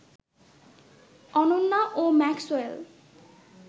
অনন্যা ও ম্যাক্সওয়েল